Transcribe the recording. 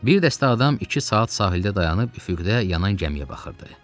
Bir dəstə adam iki saat sahildə dayanıb üfüqdə yanan gəmiyə baxırdı.